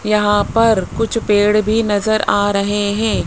यहां पर कुछ पेड़ भी नजर आ रहे हैं।